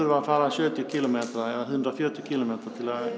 að fara sjötíu kílómetra eða hundrað og fjörutíu kílómetra til að